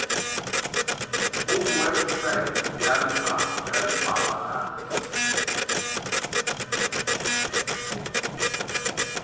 ho website ya lefapa la